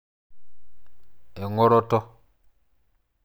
Engoroto.